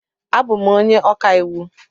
Abụ m onye ọka iwu.